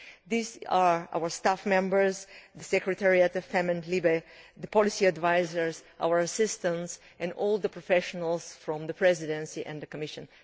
These are our staff members, the secretariat of the FEMM and LIBE Committees, the policy advisers, our assistants and all the professionals from the Presidency and the Commission.